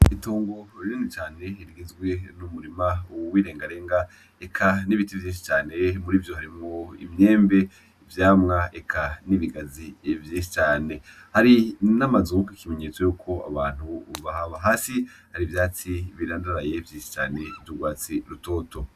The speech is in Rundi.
Itongo rinini cane, rigizwe n'umurima w'irengarenga, eka n'ibiti vyinshi cane muri ivyo, harimwo imyembe, ivyamwa eka n'ibigazi vyinshi cane. Hari n'amazu, ikimenyetso yuko abantu bahaba. Hasi, hari ivyatsi birandaraye vyinshi cane vy'urwatsi rutoto.